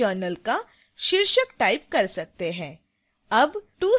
आप यहां अपने journal का शीर्षक type कर सकते हैं